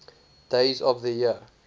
days of the year